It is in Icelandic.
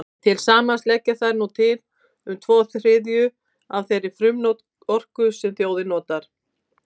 Til samans leggja þær nú til um tvo þriðju af þeirri frumorku sem þjóðin notar.